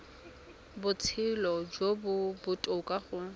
botshelo jo bo botoka go